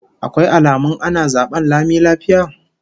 Akwai alamun ana zaben lami lafiya?